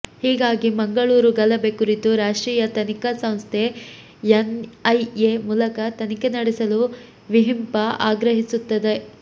ಹೀಗಾಗಿ ಮಂಗಳೂರು ಗಲಭೆ ಕುರಿತು ರಾಷ್ಟ್ರೀಯ ತನಿಖಾ ಸಂಸ್ಥೆ ಎನ್ ಐ ಎ ಮೂಲಕ ತನಿಖೆ ನಡೆಸಲು ವಿಹಿಂಪ ಆಗ್ರಹಿಸುತ್ತದೆ